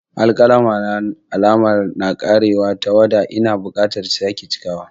Alƙalami na da alama yana ƙarewar tawada - Ina buƙatar sake cikawa.